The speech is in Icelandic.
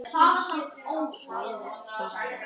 Svona var afi.